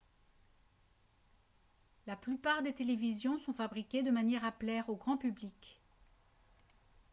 la plupart des télévisions sont fabriquées de manière à plaire au grand public